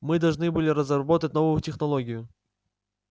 мы должны были разработать новую технологию